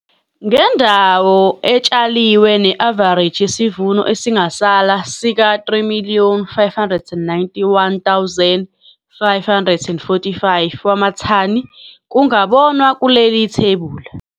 Ngendawo etshaliwe ne-avareji yesivuno esingasala sika-3 591 545 wamathani kungabonwa kuleli thebula.